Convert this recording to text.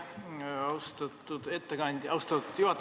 Aitäh, austatud juhataja!